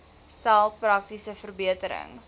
stel praktiese verbeterings